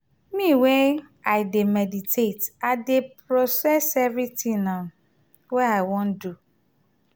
me wey i dey meditate i dey process everytin wey i wan do.